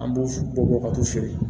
An b'u bɔ bɔ ka t'u feere